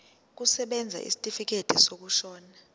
kusebenza isitifikedi sokushona